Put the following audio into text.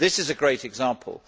This is a great example.